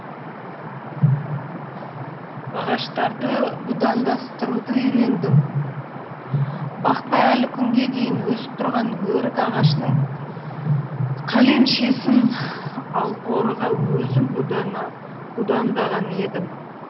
ағаштарды будандастыруды үйрендім бақта әлі күнге дейін өсіп тұрған өрік ағашының қалемшесін алқорыға өзім будандаған едім